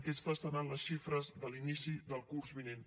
aquestes seran les xifres de l’inici del curs vinent